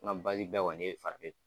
An ka basi bɛɛ kɔnin ye fanbɛfɛ.